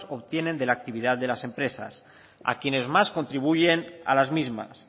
obtienen de la actividad de las empresas a quienes más contribuyen a las mismas